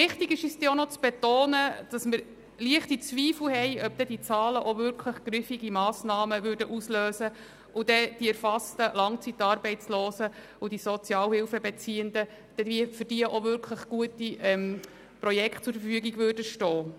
Wichtig ist uns aber auch, zu betonen, dass wir leichte Zweifel haben, ob aufgrund dieser Zahlen dann auch wirklich griffige Massnahmen ausgelöst und für die erfassten Langzeitarbeitslosen sowie Sozialhilfebeziehenden dann auch wirklich gute Projekte zur Verfügung stehen würden.